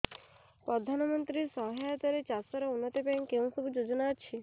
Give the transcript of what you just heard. ପ୍ରଧାନମନ୍ତ୍ରୀ ସହାୟତା ରେ ଚାଷ ର ଉନ୍ନତି ପାଇଁ କେଉଁ ସବୁ ଯୋଜନା ଅଛି